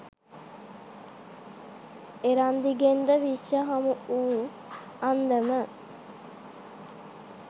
එරන්දිගෙන්ද විශ්ව හමුවූ අන්දම